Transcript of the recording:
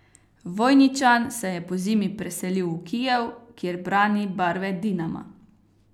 Vojničan se je pozimi preselil v Kijev, kjer brani barve Dinama.